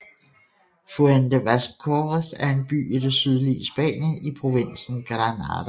Fuente Vaqueros er en by i det sydlige Spanien i provinsen Granada